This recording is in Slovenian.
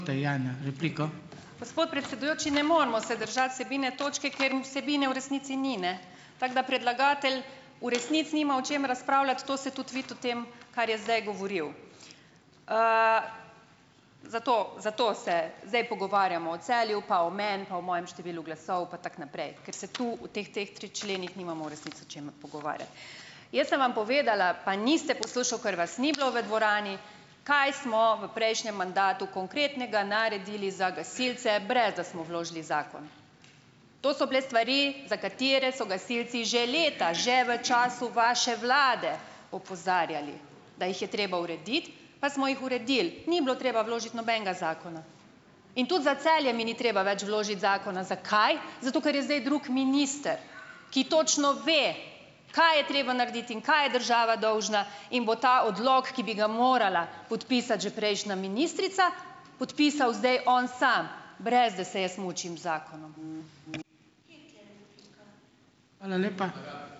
Gospod predsedujoči, ne moremo se držati vsebine točke, ker vsebine v resnici ni, ne. Tako da predlagatelj v resnici nima o čem razpravljati, to se tudi vidi v tem, kar je zdaj govoril. Zato, zato se zdaj pogovarjamo o Celju pa o meni pa o mojem številu glasov pa tako naprej, ker se tu v teh, teh tri členih nimamo v resnici o čemer pogovarjati. Jaz sem vam povedala, pa niste poslušali, ker vas ni bilo v dvorani, kaj smo v prejšnjem mandatu konkretnega naredili za gasilce, brez da smo vložili zakon. To so bile stvari, za katere so gasilci že leta že v času vaše vlade opozarjali, da jih je treba urediti, pa smo jih uredili, ni bilo treba vložiti nobenega zakona. In tudi za Celje mi ni treba več vložiti zakona. Zakaj? Zato, ker je zdaj drug minister, ki točno ve, kaj je treba narediti in kaj je država dolžna, in bo ta odlok, ki bi ga morala podpisati že prejšnja ministrica, podpisal zdaj on sam, brez da se jaz mučim z zakonom.